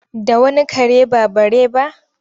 Da wani kare ba bare ba?